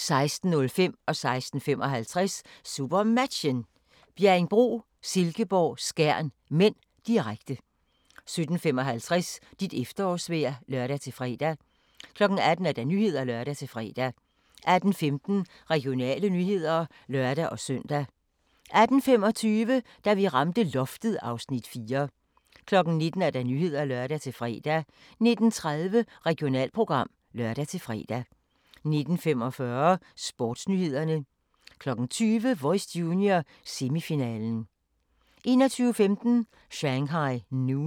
16:55: SuperMatchen: Bjerringbro-Silkeborg - Skjern (m), direkte 17:55: Dit efterårsvejr (lør-fre) 18:00: Nyhederne (lør-fre) 18:15: Regionale nyheder (lør-søn) 18:25: Da vi ramte loftet (Afs. 4) 19:00: Nyhederne (lør-fre) 19:30: Regionalprogram (lør-fre) 19:45: Sportsnyhederne 20:00: Voice Junior - semifinalen 21:15: Shanghai Noon